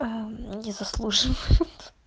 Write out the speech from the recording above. а не заслуживает